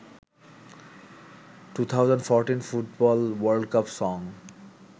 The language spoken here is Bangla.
2014 football world cup song